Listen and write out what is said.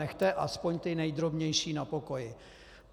Nechte aspoň ty nejdrobnější na pokoji.